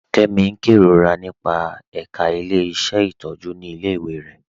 Kẹmi n kẹrorà nípa ẹká ilẹ̀-iṣẹ́ ntọjú ni ilẹ̀-iwé rẹ.